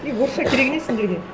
е орысша керегі не сендерге